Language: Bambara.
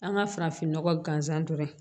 An ka farafinnɔgɔ gansan dɔrɔn